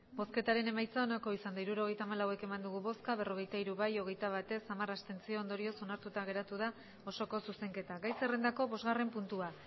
hirurogeita hamalau eman dugu bozka berrogeita hiru bai hogeita bat ez hamar abstentzio ondorioz onartuta geratu da osoko zuzenketa gai zerrendako bosgarren puntua